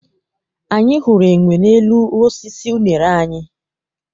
Anyị hụrụ enwe n'elu osisi unere anyị.